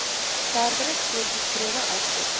verdere voorgeskrewe aspekte